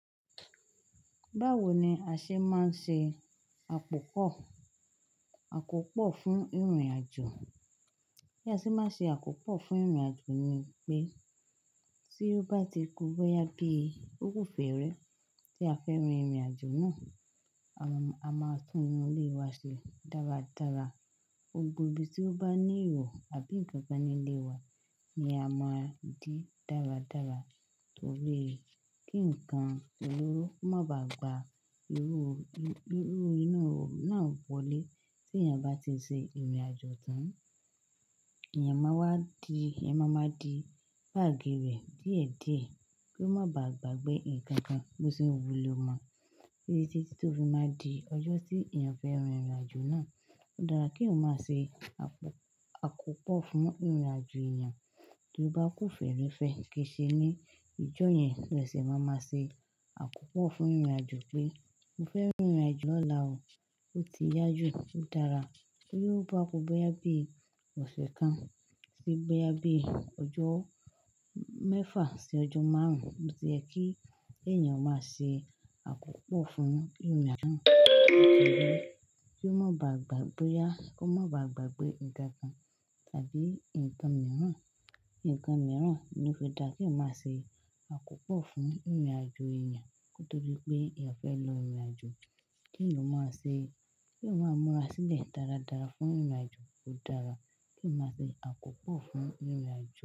Báwo ni a ṣe máa ń ṣe àkópọ̀, àkópọ̀ fún ìrìnàjò? Bí a ṣe máa ń ṣe àkópọ̀ fún ìrìnàjò ni pé tí ó bá ti ku boyà bí okú fèrè tí a fẹ́ rin ìrìnàjò náà, a máa tú inú ilé wa ṣe dáradára. Gbogbo ibi tí ó bá ní ihò àbí nǹkan kan nílé wa ni a máa dì dáradára torí pé kí nǹkan olóró má bá gba irú, irú inu iho náà wọlé. Tí èèyàn bá ti ṣe ìrìnàjò tán, èèyàn máa wá di, èèyàn máa ma di báàgì rẹ̀ díẹ̀díẹ̀ kí ó má bàá gbàgbé nǹkan kan bó ti wù ló má. Bẹ́ẹ̀ sì títí tó fi máa di ọjọ́ tí èèyàn fẹ́ rin ìrìnàjò náà. Ó dára kí eeyan máa ṣe àkópọ̀ fún ìrìnàjò èèyàn tó bá ku fèrè fẹ́ ké se ní ìjọ yẹn. Ẹsẹ̀ máa ma ṣe àkópọ̀ fún ìrìnàjò pé mo fẹ́ rin ìrìnàjò lọ̀la o. Ó ti yá jù, ó dára. Ó yóò bá a ku boyà bí ọ̀sẹ̀ kan sí boyà bí ọjọ́ mẹ́fà sí ọjọ́ márùn-ún. Ó ti yẹ kí èèyàn ó máa ṣe àkópọ̀ fún ìrìnàjò náà kí ó má bàá gbàgbé yá, kí ó má bàá gbàgbé ǹkan kan tàbí ǹkan mìíràn, ǹkan mìíràn. Ó fi dára kí eeyan máa ṣe àkópọ̀ fún ìrìnàjò èèyàn kotodí pé èèyàn fẹ́ lọ ìrìnàjò. Kí eeyan máa ṣe, kí eeyan máa múra sílẹ̀ dáradára fún ìrìnàjò. Ó dára kí eyan máa ṣe àkópọ̀ fún ìrìnàjò.